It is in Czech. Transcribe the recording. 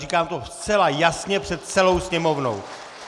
Říkám to zcela jasně před celou Sněmovnou.